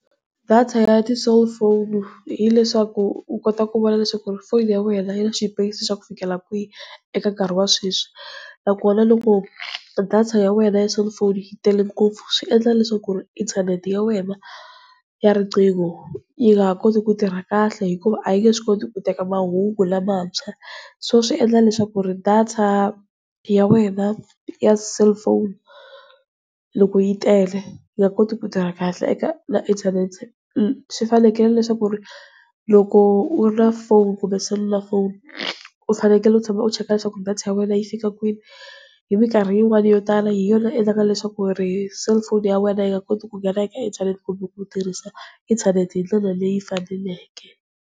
Data ya ti-cellphone hileswaku u kota ku vona leswaku ri foni ya wena yi na xipeyisi xa ku fikela kwihi eka nkarhi wa sweswi. Nakona loko data ya wena ya cellphone yi tele ngopfu, swi endla leswaku ku ri inthanete ya wena ya riqingho yi nga ha koti ku tirha kahle, hikuva a yi nge swi koti ku teka mahungu lamantshwa. So swi endla leswaku ri data ya wena ya cellphone, loko yi tele yi nga koti ku tirha kahle eka inthanete swi fanekele leswaku ri loko u ri na foni kumbe selulafoni, u fanekele u tshama u cheka leswaku data ya wena yi fika kwini hi mikarhi yin'wani yo tala hi yona yi endlaka leswaku ri selufoni ya wena yi nga koti ku nghena eka inthanete kumbe ku u tirhisa inthanete hindlela leyi faneleke.